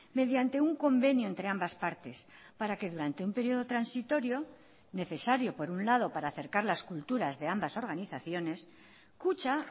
mediante un convenio entre ambas partes para que durante un periodo transitorio necesario por un lado para acercar las culturas de ambas organizaciones kutxa